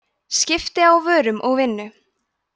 skipti á vörum og vinnu